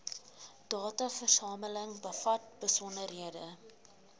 dataversameling bevat besonderhede